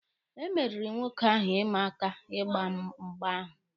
E meriri nwoke ahụ ịma aka ịgba mgba ahụ.